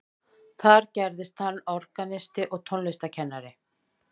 þar gerðist hann organisti og tónlistarkennari